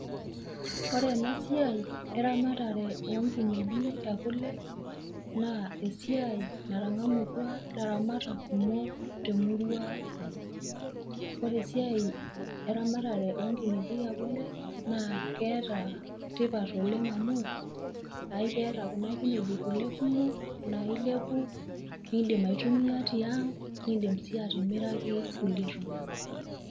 Korena siai eramatare oonkineji e kule, naa esiai natang'amutua laramatak kumok temurua ang'. Ore esiai eramatare onkineji e kule naa keeta tipat oleng amu aikeeta kuna kineji kule kumok naa ilepu nindim aitumia tiaang' nindim sii atimiraki kulie tung'anak.